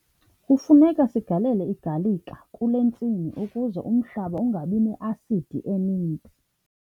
Kufuneka sigalele igalika kule ntsimi ukuze umhlaba ungabi ne-asidi eninzi.